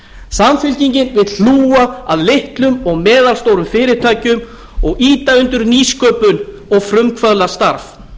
samfylkingin vill hlúa að litlum og meðalstórum fyrirtækjum og ýta undir nýsköpun og frumkvöðlastarf